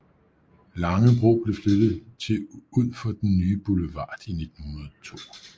Langebro blev flyttet til ud for den nye boulevard i 1902